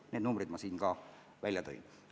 Kõik need numbrid ma siin ka välja tõin.